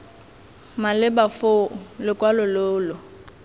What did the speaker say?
maleba foo lokwalo lo lo